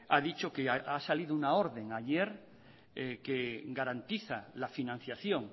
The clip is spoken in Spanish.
ha dicho que ha salido una orden ayer que garantiza la financiación